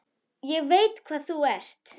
Ég veit hvað þú ert.